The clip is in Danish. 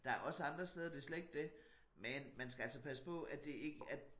Der også andre steder det slet ikke dét men man skal altså passe på at det ikke at